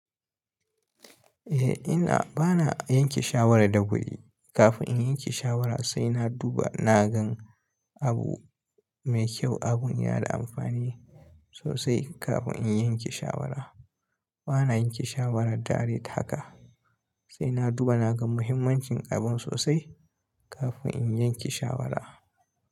Eh ina, bana yanke shawara da wuri. Kafin in yanke shawara sai na duba, na gan abu mai kyau, abun yana da amfani sosai kafin in yanke shawara. Bana yanke shawara direct haka, sai na duba na gan mahimmancin abun sosai kafin in yanke shawara.